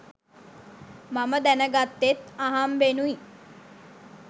මම දැන ගත්තෙත් අහම්බෙනුයි.